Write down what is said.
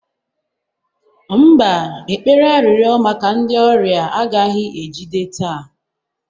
mba, ekpere arịrịọ maka ndị ọrịa agaghị ejide taa